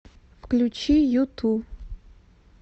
включи юту